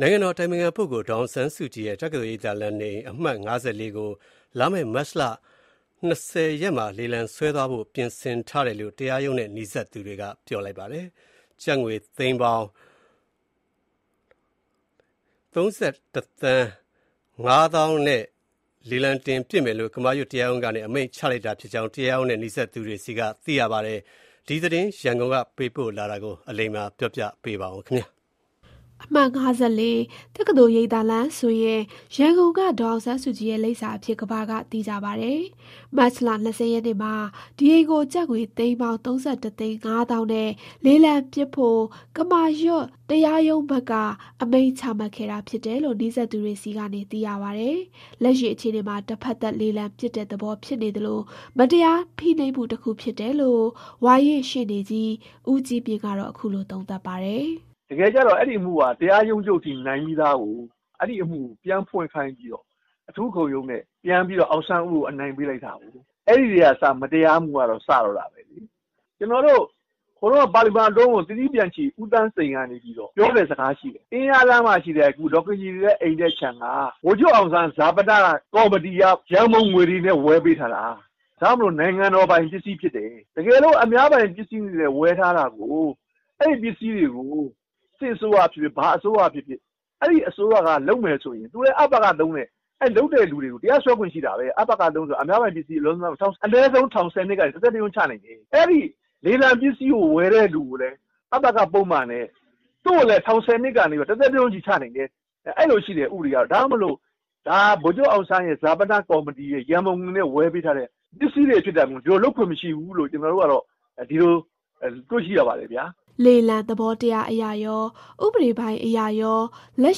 နိုင်ငံတော်အတိုင်ပင်ခံပုဂ္ဂိုလ် ဒေါ်အောင်ဆန်းစုကြည်ရဲ့ တက္ကသိုလ်ရိပ်သာလမ်း နေအိမ် အမှတ် ၅၄ ကို လာမယ့် မတ်လ ၂၀ ရက်မှာလေလံတင်ရောင်းချသွားဖို့ ပြင်ဆင်ထားတယ်လို့တရားရုံးနဲ့နီးစပ်သူတွေ ကပြောပါတယ်။ ကျပ်ငွေ သိန်းပေါင်း ၃,၁၅၀,၀၀၀ နဲ့ လေလံပစ်မယ်လို့ ကမာရွတ်တရားရုံးကနေအမိန့်ချမှတ်လိုက်တာဖြစ်ကြောင်း တရားရုံးနဲ့နီးစပ်သူတွေဆီကနေသိရပါတယ်။ ဒီသတင်းရန်ကုန်ကပေးပို့လာတာကို ကိုစည်သူ ကပြောပြမှာပါ။ အမှတ် ၅၄ ၊ တက္ကသိုလ်ရိပ်သာလမ်းဆိုရင် ရန်ကုန်က ဒေါ်အောင်ဆန်းစုကြည်ရဲ့ လိပ်စာအဖြစ် ကမ္ဘာက သိကြပါတယ်။ မတ်လ ၂၀ ရက်နေ့မှာ ဒီအိမ်ကို ကျပ်ငွေ သိန်းပေါင်း ၃,၁၅၀,၀၀၀ နဲ့ လေလံပစ်ဖို့ ကမာရွတ်တရားရုံးဘက်ကအမိန့်ချမှတ်ခဲ့တာဖြစ်တယ်လို့ နီးစပ်သူတွေဆီကနေသိရပါတယ်။ လက်ရှိအခြေအနေမှာ တဖက်သတ်လေလံပစ်တဲ့သဘောဖြစ်နေသလို မတရားဖိနှိပ်မှု တခုဖြစ်တယ်လို့ ဝါရင့်ရှေ့နေကြီး ဦးကြီးမြင့်ကတော့ အခုလိုသုံးသပ်ပါတယ်။ "တကယ်တော့အဲဒီအမှုကတရားရုံးချုပ်ထိ နိုင်ပြီးသားကို အဲအမှုပြန်ဖွင့်ခိုင်းပြီးအထူးခုံရုံးနဲ့အောင်ဆန်းဦးကိုအနိုင်ပေးလိုက်တာကို။ အဲထဲက မတရားမှုကစတော့တာဘဲ ဟိုတုန်းကပါလီမာန်ခေတ်ကအတွင်းဝန် သီရိပျံချီဦးသောင်းစိန်ပြောတဲ့စကားရှိတယ်။ အင်းယားလမ်းမှာရှိတဲ့ ဒေါ် ခင်ကြည်နေတဲ့အိမ်နဲ့ခြံက ဗိုလ်ချုပ်အောင်ဆန်းဈာပနကော်မတီကနေဝယ်ပေးထားတာ။ ဒ့ါမို့နိုင်ငံတော်ပိုင်ပစ္စည်းဖြစ်တယ်။ အများပိုင်အနေနဲ့ ဝယ်ထားတာကို စစ်အစိုးရဖြစ်ဖြစ် ဘာဖြစ်ဖြစ် အဲအစိုးရကအလွဲလုပ်ရင် ဒါက အပစ ၃လို့ခေါ်တဲ့ အများပိုင်ပစ္စည်းအလွဲသုံးစားလုပ်မှုနဲ့တရားစွဲလို့ရတယ်။ ထောင် ၁၀နှစ်ကနေ တသက်တကျွန်းချလို့ရတယ်။ အဲလေလံပစ္စည်းဝယ်တဲ့သူကိုလည်း အပစပုဒ်မနဲ့ သူ့ကိုလည်း ထောင် ၁၀နှစ် ကနေ တသက်တကျွန်းချနိုင်တယ်။ အဲလိုဥပဒေရှိတယ်။ ဒါ ဗိုလ်ချုပ်အောင်ဆန်းဈာပနကော်မတီကနေဝယ်ပေးထားတဲ့ အများပိုင်ပစ္စည်းဖြစ် တယ်လို့ ကျနော်ကတော့ ပြောချင်ပါတယ်။" လေလံသဘောတရားအရကော ဥပဒေပိုင်းအရကော လက်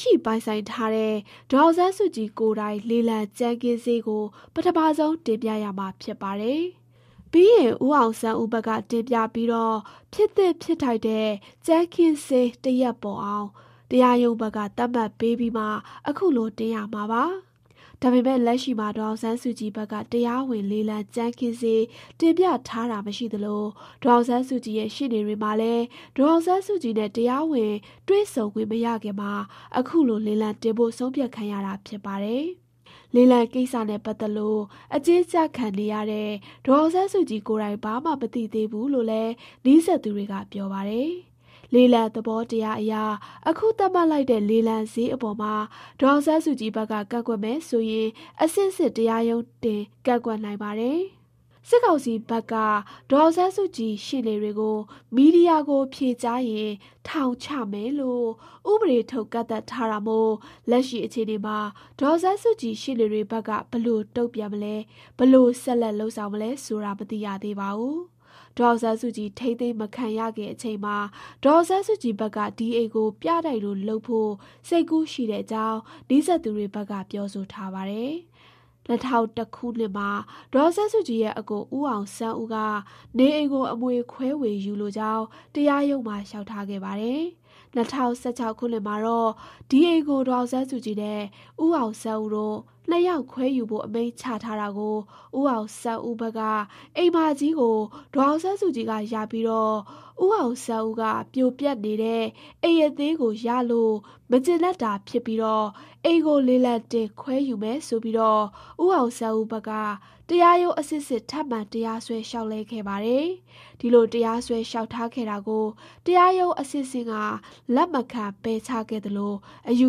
ရှိပိုင်ဆိုင်ထားတဲ့ ဒေါ်အောင်ဆန်းစုကြည်ကိုယ်တိုင် လေလံကြမ်းခင်းစျေးကိုပထမဆုံးတင်ပြရမှာဖြစ်ပါတယ်။ ပြီးရင် ဦးအောင်ဆန်းဦးဘက်က တင်ပြပြီး ဖြစ်သင့်ဖြစ်ထိုက်တဲ့ကြမ်းခင်းစျေး တရပ်ပေါ်အောင် တရားရုံးဘက်က သတ်မှတ်ပေးပြီးမှ အခုလို တင်ရမှာပါ။ ဒါပေမယ့် လက်ရှိမှာ ဒေါ်အောင်ဆန်းစုကြည်ဘက်က တရားဝင်လေလံကြမ်းခင်းစျေး တင်ပြထားတာမရှိသလို ဒေါ်အောင်ဆန်းစုကြည်ရဲ့ရှေ့နေတွေမှာလည်း ဒေါ်အောင်ဆန်းစုကြည်နဲ့ တရားဝင်တွေ့ဆုံခွင့်မရခင်မှာ အခုလို လေလံတင်ဖို့ ဆုံးဖြတ်ခံရတာဖြစ်ပါတယ်။ လေလံကိစ္စနဲ့ပတ်သတ်လို့ အကျဉ်းကျခံနေရတဲ့ ဒေါ်အောင်ဆန်းစုကြည်ကိုယ်တိုင် ဘာမှ မသိသေးဘူးလို့ လည်း နီးစပ်သူ တွေကပြော ပါတယ်။ လေလံသဘောတရားအရ အခုသတ်မှတ်လိုက်တဲ့လေလံစျေးအပေါ်မှာ ဒေါ်အောင်ဆန်းစုကြည်ဘက်က ကန့်ကွက်မယ် ဆိုရင် အဆင့်ဆင့်တရားရုံးတင်ကန့်ကွက်နိုင်ပါတယ်။ စစ်ကောင်စီဘက်က ဒေါ်အောင်ဆန်းစုကြည်ရှေ့နေတွေကိုမီဒီယာကိုဖြေကြားရင်ထောင်ချမယ်လို့ ဥပဒေထုတ်ကန့်သတ်ထားတာမို့ လက်ရှိ အခြေအနေမှာ ဒေါ်အောင်ဆန်းစုကြည်ရှေ့နေတွေဘက်က ဘယ်လိုတုံ့ပြန်မလဲ ဘယ်လိုဆက်လက်လုပ်ဆောင်မလဲဆိုတာ မသိရသေးပါဘူး။ ဒေါ်အောင်ဆန်းစုကြည်ထိန်းသိမ်းမခံရခင်အချိန်မှာ ဒေါ်အောင်ဆန်းစုကြည်ဘက်က ဒီအိမ်ကိုပြတိုက်လိုလုပ်ဖို့စိတ်ကူးရှိတဲ့အကြောင်းနီးစပ်သူတွေက ပြောဆိုထားပါတယ်။ ၂ဝဝ၁ ခုနှစ်မှာ ဒေါ်အောင်ဆန်းစုကြည်ရဲ့ အစ်ကို ဦးအောင်ဆန်းဦးက နေအိမ်ကို အမွေခွဲဝေ ယူလိုကြောင်း တရားရုံးမှာ လျှောက်ထားခဲ့ပါတယ်။၂၀၁၆ ခုနှစ်မှာတော့ ဒီအိမ်ကို ဒေါ်အောင်ဆန်းစုကြည်နဲ့ ဦးအောင်ဆန်းဦးတို့ ၂ ယောက်ခွဲယူဖို့အမိန့်ချထားတာကို ဦးအောင်ဆန်းဦး ဘက်က အိမ်မကြီးကို ဒေါ်အောင်ဆန်းစုကြည်က ရပြီး ဦးအောင်ဆန်းဦးက ပြိုပျက် နေတဲ့ အိမ်အသေးကို ရလို့ မကျေနပ်တာ ဖြစ်ကာ အိမ်ကို လေလံတင်ခွဲယူမယ်ဆိုပြီး ဦးအောင်ဆန်းဦးဘက်က တရားရုံးအဆင့်ဆင့် ထပ်မံတရားစွဲလျှောက်လဲခဲ့ပါတယ်။ ဒီလိုတရားစွဲလျှောက်ထားခဲ့တာကို တရားရုံးအဆင့်ဆင့်က လက်မခံပယ်ချခဲ့သလို အယူ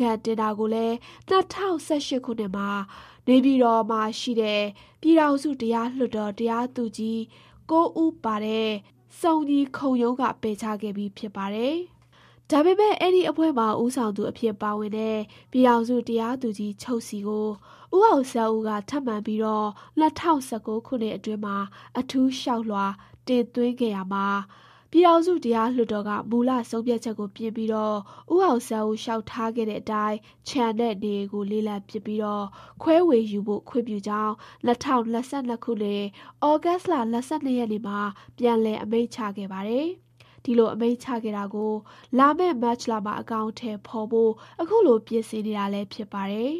ခံတင်တာကိုလည်း ၂ဝ၁၈ခုနှစ်မှာ နေပြည်တော်ရှိ ပြည်ထောင်စုတရားလွှတ်တော် တရားသူကြီး ၉ ဦးပါ စုံညီခုံရုံးက ပယ်ချခဲ့ပြီးဖြစ်ပါတယ်။ ဒါပေမဲ့ အဲဒီအဖွဲ့မှာ ဦးဆောင်သူအဖြစ်ပါဝင်တဲ့ ပြည်ထောင်စုတရားသူကြီးချုပ်ထံ ဦးအောင်ဆန်းဦးက ထပ်မံပြီး ၂ဝ၁၉ခုနှစ်အတွင်းမှာ အထူးလျှောက်လွှာတင်သွင်းခဲ့ရာမှာပြည်ထောင်စုတရားလွှတ်တော်က မူလဆုံးဖြတ်ချက်ကို ပြင်ပြီး ဦးအောင်ဆန်းဦး လျှောက်ထားခဲ့ တဲ့အတိုင်း ခြံနဲ့နေအိမ်ကို လေလံပစ်ပြီး ခွဲဝေယူဖို့ခွင့်ပြုကြောင်း ၂၀၂၂ ခုနှစ် သြဂုတ်လ ၂၂ ရက်မှာပြန်လည်အမိန့်ချခဲ့ပါတယ်။ ဒီလိုအမိန့်ချခဲ့တာကို လာမယ့် မတ်လမှာ အကောင်အထည်ဖေါ်ဖို့ ခုလို ပြင်ဆင်နေတာလည်း ဖြစ်ပါတယ်